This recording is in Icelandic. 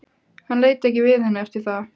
Hann leit ekki við henni eftir það.